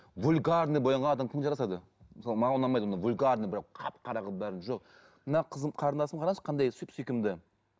вульгарно боянған адам кім жарасады мысалы маған ұнамайды ондай вульгарно прямо қап қара қылып бәрін жоқ мына қызым қарындасымды қараңызшы қандай сүп сүйкімді